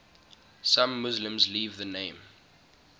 some muslims leave the name